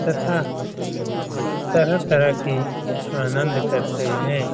तथा तरह-तरह के आनंद करते हैं।